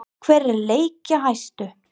Hver er leikjahæstur?